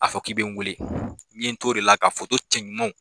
A fɔ k'i bɛ n wele n ɲe n t'o de la k'a foto cɛ ɲumanw.